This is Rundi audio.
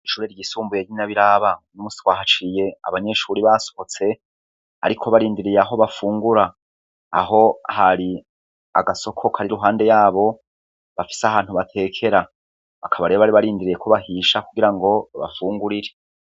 Ishure ryisumbuye ry'i Nyabiraba. Uno musi twa haciye abanyeshure basohotse, ariko barindiriye aho bafungura. Aho hari agasoko kari iruhande yabo, bafitse ahantu batekera. Bakaba re bari barindiriye ko bahisha kugira ngo babafungurire.